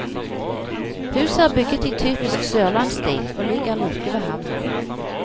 Huset er bygget i typisk sørlandsstil og ligger like ved havna.